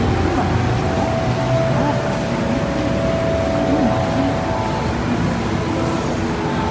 Sumarfjósbotn, Krókakriki, Krummagil, Skiphólavík